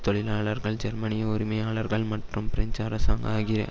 தொழிலாளர்கள் ஜெர்மனிய உரிமையாளர்கள் மற்றும் பிரெஞ்சு அரசாங்க ஆகிய